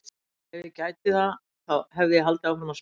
Ef ég gæti það þá hefði ég haldið áfram að spila!